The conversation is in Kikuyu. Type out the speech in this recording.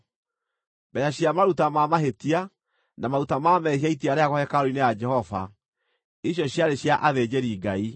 Mbeeca cia maruta ma mahĩtia, na maruta ma mehia itiarehagwo hekarũ-inĩ ya Jehova, icio ciarĩ cia athĩnjĩri-Ngai.